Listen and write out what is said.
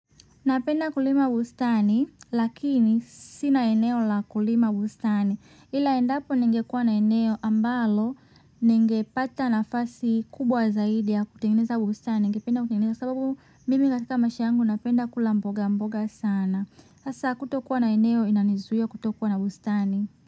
Napenda kulima bustani, lakini sina eneo la kulima bustani. Ila endapo ningekua na eneo ambalo, ningepata nafasi kubwa zaidi ya kutengeneza bustani, ningependa kutengeneza sababu mimi katika maisha yangu napenda kula mboga mboga sana. Hasa kutokuwa na eneo inanizuia kutokuwa na bustani.